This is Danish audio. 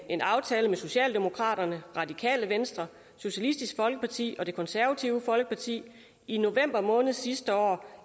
en aftale med socialdemokraterne radikale venstre socialistisk folkeparti og det konservative folkeparti i november måned sidste år